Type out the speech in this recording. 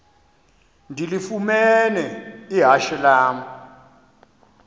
ndilifumene ihashe lam